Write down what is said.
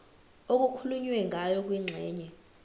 okukhulunywe ngayo kwingxenye